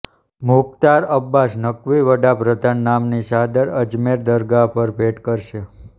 મુખ્તાર અબ્બાસ નકવી વડા પ્રધાનના નામની ચાદર અજમેર દરગાહ પર ભેટ કરશે